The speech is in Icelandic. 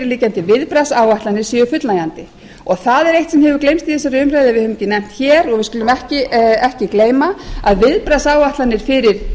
liggjandi viðbragðsáætlanir séu fullnægjandi það er eitt sem hefur gleymst í þessari umræðu og við höfum ekki nefnt hér og við skulum ekki gleyma að viðbragðsáætlanir fyrir